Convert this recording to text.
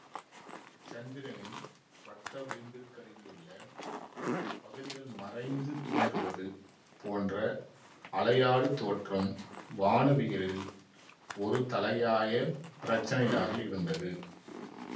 சந்திரனின் வட்டவிளிம்பிற்கருகிலுள்ள பகுதிகள் மறைந்து தோன்றுவது போன்ற அலையாடு தோற்றம் வானவியலில் ஒரு தலையாய பிரச்சினையாக இருந்தது